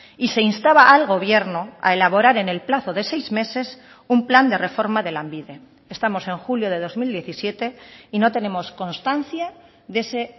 y se instaba al gobierno a elaborar en el plazo de seis meses un plan de reforma de lanbide estamos en julio de dos mil diecisiete y no tenemos constancia de ese